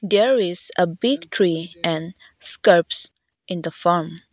there is a big tree and scrubs in the farm.